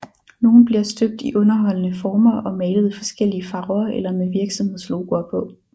Nogle bliver støbt i underholdende former og malet i forskellige farver eller med virksomhedslogoer på